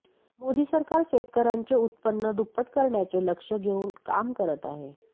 मोदी सरकार शेतकऱ्यांचे उत्पन्न दुप्पट करण्याचे लक्ष्य घेऊन काम करत आहे